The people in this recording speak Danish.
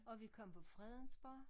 Og vi kom på Fredensborg